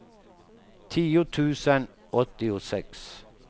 tio tusen åttiosex